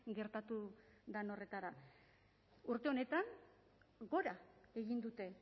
gertatu den horretara urte honetan gora egin dute